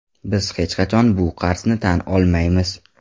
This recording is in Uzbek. Biz hech qachon bu qarzni tan olmaymiz.